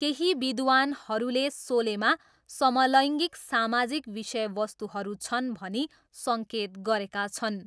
केही विद्वान्‌हरूले सोलेमा समलैङ्गिक सामाजिक विषयवस्तुहरू छन् भनी सङ्केत गरेका छन्।